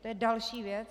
To je další věc.